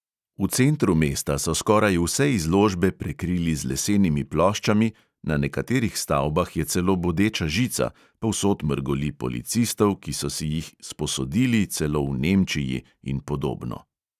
V centru mesta so skoraj vse izložbe prekrili z lesenimi ploščami, na nekaterih stavbah je celo bodeča žica, povsod mrgoli policistov, ki so si jih "sposodili" celo v nemčiji, in podobno.